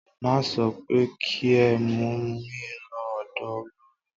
Mo sọ pé kí ẹ mú mí lọ ọ̀dọ olorì!